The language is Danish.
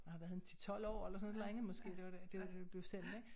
Jeg har været en 10 12 år eller sådan et eller andet måske det var der det var da det blev sendt ik